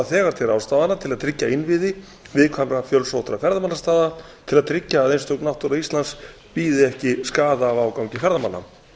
þegar til ráðstafana til að tryggja innviði viðkvæmra fjölsóttra ferðamannastaða til að tryggja að einstök náttúra íslands bíði ekki skaða af ágangi ferðamanna